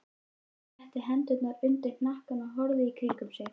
Hann setti hendurnar undir hnakkann og horfði í kringum sig.